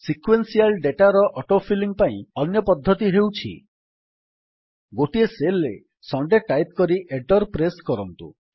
sequential ଡେଟାର auto filling ପାଇଁ ଅନ୍ୟ ପଦ୍ଧତି ହେଉଛି - ଗୋଟିଏ ସେଲ୍ ରେ ସୁଣ୍ଡେ ଟାଇପ୍ କରି ଏଣ୍ଟର୍ ପ୍ରେସ୍ କରନ୍ତୁ